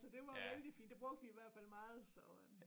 Så det var jo vældig fint det brugte vi i hvert fald meget så øh